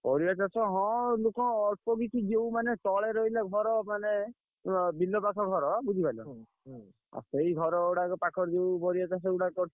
ପରିବା ଚାଷ ହଁ ଲୋକ ଅଳ୍ପ କିଛି ଯେଉଁ ମାନେ ତଳେ ରହିଲେ ଘର ମାନେ ଅଁ ବିଲ ପାଖ ଘର ବୁଝି ପାଇଲ ସେଇ ଘର ଗୁଡାକ ପାଖରେ ଯୋଉ ପରିବା ଚାଷ ଗୁଡାକ କରିଥିଲେ।